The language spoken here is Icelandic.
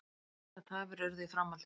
Miklar tafir urðu í framhaldinu